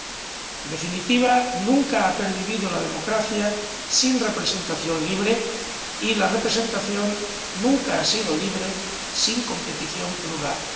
En definitiva, nunca ha pervivido la democracia sin representación libre y la representación nunca ha sido libre sin competición plural.